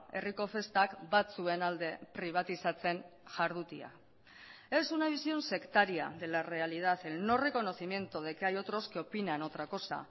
herriko festak batzuen alde pribatizatzen jardutea es una visión sectaria de la realidad el no reconocimiento de que hay otros que opinan otra cosa